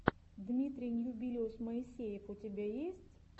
дмитрий ньюбилиус моисеев у тебя есть